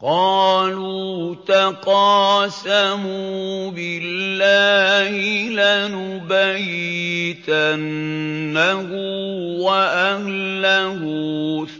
قَالُوا تَقَاسَمُوا بِاللَّهِ لَنُبَيِّتَنَّهُ وَأَهْلَهُ